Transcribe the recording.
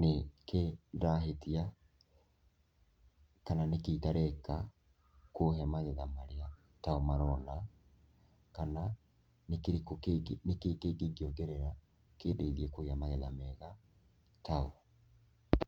nĩkĩĩ ndĩrahĩtia kana nĩkĩĩ itareka kũhe magetha mega tao marona kana nĩkĩĩ kĩngĩ ingiongerera kĩndeithie kũgĩa magetha mega tao.